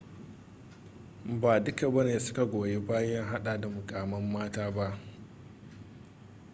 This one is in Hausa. ba duka bane suka goyi bayan hada da mukamman mata ba